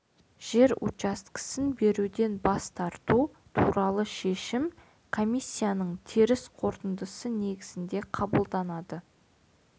жер учаскесін беруден бас тарту туралы шешім комиссияның теріс қорытындысы негізінде қабылданады